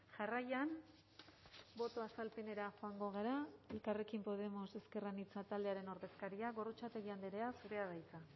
jarraian boto azalpenera joango gara elkarrekin podemos ezker anitza taldearen ordezkaria gorrotxategi andrea zurea da hitza